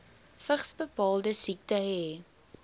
vigsbepalende siekte hê